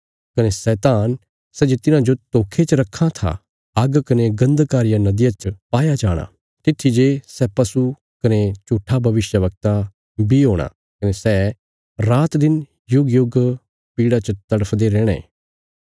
कने शैतान सै जे तिन्हांजो धोखे च रक्खां था आग्ग कने गन्धका रिया नदिया च पाया जाणा तित्थी जे सै पशु कने झूट्ठा भविष्यवक्ता बी हूणा कने सै रातदिन युगयुग पीड़ा च तड़फदे रैहणे